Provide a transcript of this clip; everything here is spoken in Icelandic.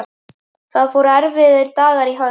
Það fóru erfiðir dagar í hönd.